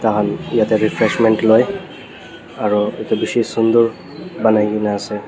tai khan yatae refreshment loi aro edu bishi sunder banaikae naase.